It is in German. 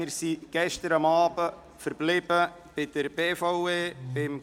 Wir sind gestern Abend bei der BVE, beim Traktandum 13, verblieben.